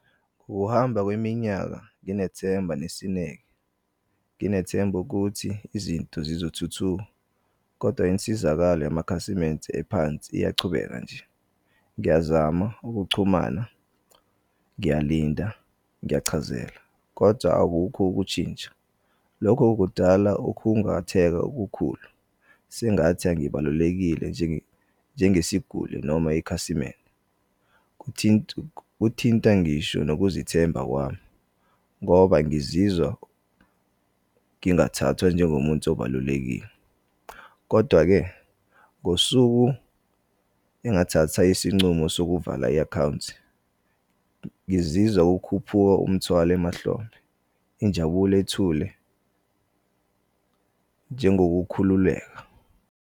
Ukuhamba kweminyaka nginethemba nesineke. Nginethemba ukuthi izinto zizothuthuka, koda insizakalo yamakhasimende ephansi iyachubeka nje. Ngiyazama ukuchumana, ngiyalinda, ngiyachazela, kodwa awukho ukutshintsha. Lokho kudala ukhungatheka okukhulu. Sengathi angibalulekile njengesiguli noma ikhasimende. Kuthinta ngisho nokuzethemba kwami, ngoba ngizizwa ngingathathwa njengomuntu obalulekile, kodwa-ke ngosuku engathatha isincumo sokuvala i-akhawunti, ngizizwa kukhuphuka umthwalo emahlombe, injabulo ethule njengokukhululeka.